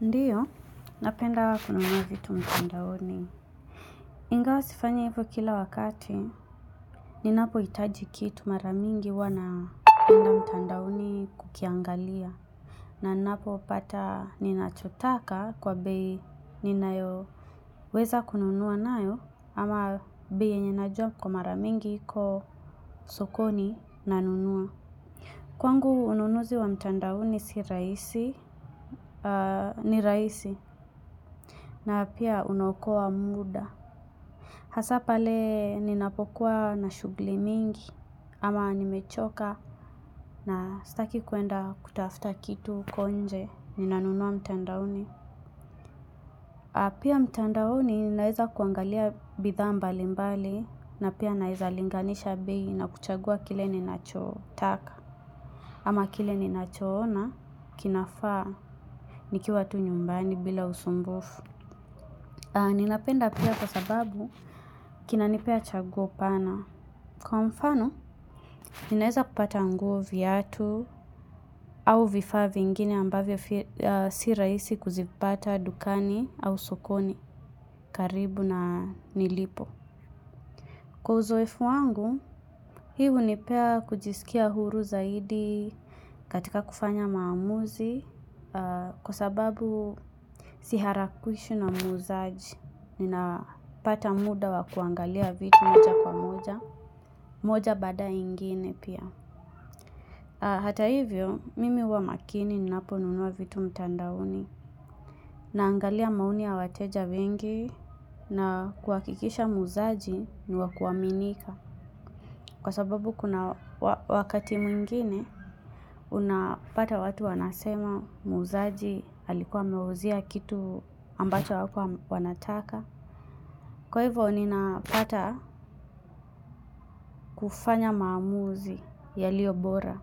Ndiyo, napenda kununua vitu mtandaoni. Ingawa sifanya hivo kila wakati, ninapo hitaji kitu mara mingi huwa naenda mtandaoni kukiangalia. Naninapo pata ninachotaka kwa bei ninayo weza kununua nayo, ama bei yenye na jua kwa mara mingi iko sokoni na nunua. Kwangu ununuzi wa mtandaoni sirahisi, ni rahisi. Na pia unaokoa muda. Hasa pale ninapokuwa na shughuli mingi. Ama nimechoka na sitaki kuenda kutafuta kitu huko nje. Nina nunua mtandaoni. Pia mtandaoni ninaweza kuangalia bidhaa mbali mbali. Na pia naeza linganisha bei na kuchagua kile ninachotaka. Ama kile ninacho ona kinafaa nikiwa tu nyumbani bila usumbufu. Ninapenda pia kwa sababu kina nipea chaguo pana. Kwa mfano, ninaeza kupata nguo viatu au vifaa vingine ambavyo si rahisi kuzipata dukani au sokoni karibu na nilipo. Kwa uzoefu wangu, hii hunipea kujisikia huru zaidi katika kufanya maamuzi, kwa sababu siharakwishu na muuzaji, nina pata muda wa kuangalia vitu moja kwa moja, moja baada ya ingine pia. Hata hivyo, mimi huwa makini ninapo nunua vitu mtandaoni na angalia maoni ya wateja wengi na kuhakikisha muuzaji ni wakuaminika. Kwa sababu kuna wakati mwingine, unapata watu wanasema muuzaji alikuwa amewauzia kitu ambacho hakuwa wanataka. Kwa hivo, ninapata kufanya maamuzi ya liyobora.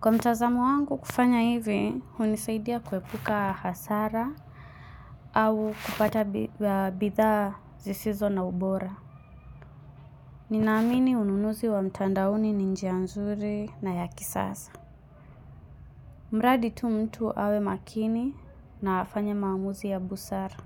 Kwa mtazamo wangu kufanya hivi, hunisaidia kuepuka hasara au kupata bidhaa zisizo na ubora. Ninaamini ununuzi wa mtandaoni ni njia nzuri na yaki sasa. Mradi tu mtu awe makini na afanye maamuzi ya busara.